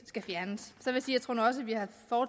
skal fjernes